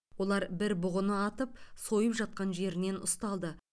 олар бір бұғыны атып сойып жатқан жерінен ұсталды